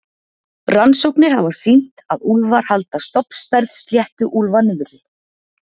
Rannsóknir hafa sýnt að úlfar halda stofnstærð sléttuúlfa niðri.